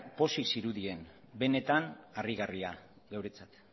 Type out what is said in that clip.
pozik zirudien benetan harrigarria geuretzat